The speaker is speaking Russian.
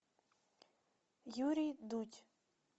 юрий дудь